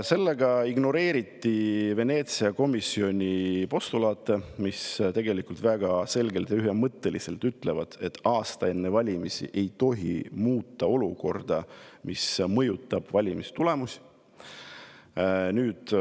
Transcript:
Sellega ignoreeritakse Veneetsia komisjoni postulaate, mis tegelikult väga selgelt ja ühemõtteliselt ütlevad, et aasta enne valimisi ei tohi muuta olukorda, mis mõjutab valimistulemust.